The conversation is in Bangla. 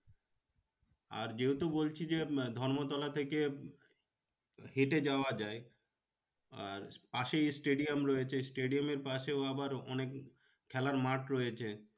আর যেহেতু বলছি যে ধর্মতলা থেকে হেঁটে যাওয়া যায়। আর পাশেই stadium রয়েছে stadium এর পাশে আবার অনেক খেলার মাঠ রয়েছে।